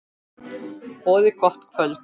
Boðið gott kvöld.